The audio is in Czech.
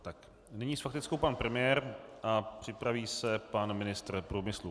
Nyní s faktickou pan premiér a připraví se pan ministr průmyslu.